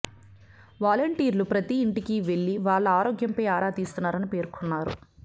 వలంటీర్లు ప్రతి ఇంటికివెళ్లి వాళ్ల ఆరోగ్యంపై ఆరా తీస్తున్నారని పేర్కొన్నారు